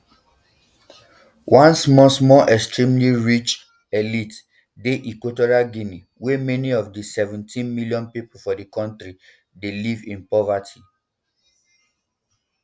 one small small extremely rich um elite dey equitorial guinea but many of di seventeen million pipo for di kontri dey um live in poverty